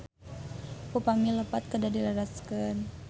Upami lepat kedah dilereskeun